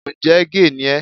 Ǹjẹ́ géè ni ẹ́?